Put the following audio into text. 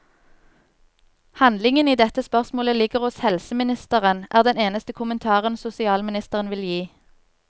Handlingen i dette spørsmålet ligger hos helseministeren, er den eneste kommentaren sosialministeren vil gi.